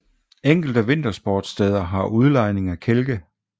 Enkelte vintersportssteder har udlejning af kælke